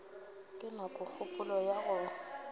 ke na kgopolo ya go